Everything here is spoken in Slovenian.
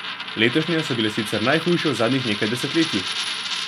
Letošnje so bile sicer najhujše v zadnjih nekaj desetletjih.